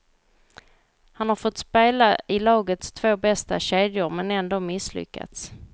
Han har fått spela i lagets två bästa kedjor men ändå misslyckats.